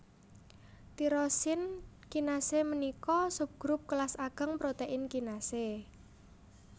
Tirosin kinasé ménika subgrup kélas agéng protèin kinasé